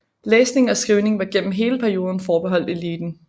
Læsning og skrivning var gennem hele perioden forbeholdt eliten